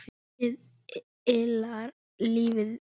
Ljósið yljar lífið vekur.